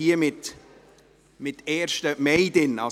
Auf der Liste steht, es sei der 1. Mai.